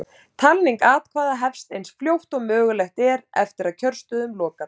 Talning atkvæða hefst eins fljótt og mögulegt er eftir að kjörstöðum lokar.